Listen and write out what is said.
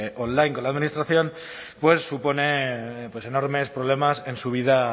online con la administración supone enormes problemas en su vida